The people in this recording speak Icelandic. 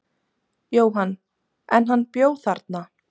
Jóhann: En hann bjó þarna?